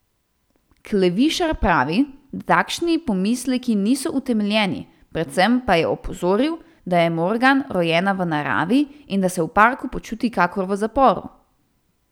Klevišar pravi, da takšni pomisleki niso utemeljeni, predvsem pa je opozoril, da je Morgan rojena v naravi in da se v parku počuti kakor v zaporu.